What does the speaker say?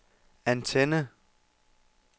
antenne